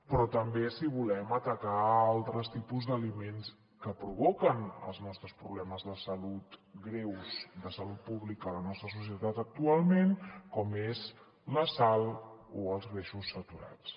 però també si volem atacar altres tipus d’aliments que provoquen els nostres problemes de salut greus de salut pública a la nostra societat actualment com és la sal o els greixos saturats